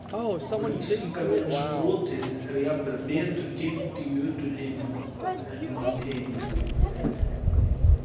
Og Brísingamensbrotið er jafnvel betur geymt í Jötunheimum en mannheimum.